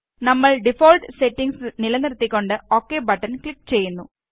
നമ്മള് default settings നിലനിർത്തികൊണ്ട് OK button click ചെയ്യുന്നു